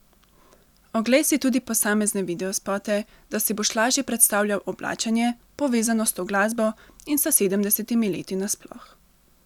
Oglej si tudi posamezne videospote, da si boš lažje predstavljal oblačenje, povezano s to glasbo in s sedemdesetimi leti nasploh.